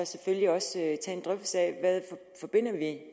selvfølgelig også tage en drøftelse af hvad vi forbinder